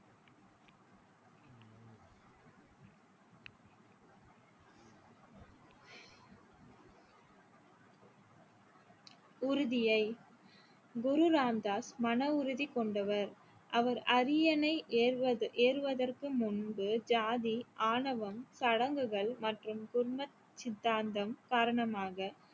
உறுதியை குரு ராம்தாஸ் மனவுறுதி கொண்டவர் அவர் அரியணை ஏறுவது~ ஏறுவதற்கு முன்பு ஜாதி ஆணவம் சடங்குகள் மற்றும் குர்மத் சித்தாந்தம் காரணமாக